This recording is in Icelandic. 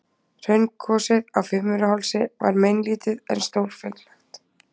Hraungosið á Fimmvörðuhálsi var meinlítið en stórfenglegt.